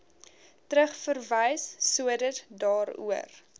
terugverwys sodat daaroor